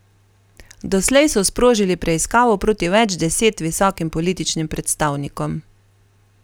Doslej so sprožili preiskavo proti več deset visokim političnim predstavnikom.